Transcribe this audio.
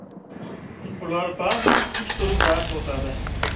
Ular ba’zan tik turib dars o‘tadi.